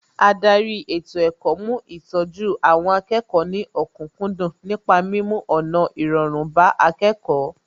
Ádárì ètò ẹ̀kọ́ mú ìtọ́jú àwọn akẹ́kọ̀ọ́ ní òkúkúndùn nípa mímú ọ̀nà irọrun bá akẹ́kọ̀ọ́